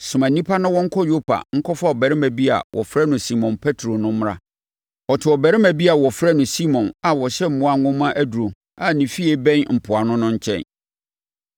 Soma nnipa na wɔnkɔ Yopa nkɔfa ɔbarima bi a wɔfrɛ no Simon Petro no mmra. Ɔte ɔbarima bi a wɔfrɛ no Simon a ɔhyɛ mmoa nwoma aduro a ne fie bɛn mpoano no nkyɛn’.